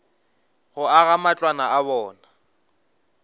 go aga matlwana a bona